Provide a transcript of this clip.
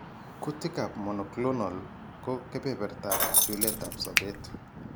Kutikab monoclonal ko kebertab chuletab sobet.